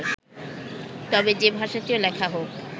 তবে যে ভাষাতেও লেখা হোক